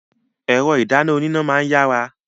Ẹ̀rọ ìdáná oníná máa ń yára.